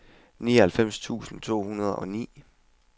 nioghalvfems tusind to hundrede og ni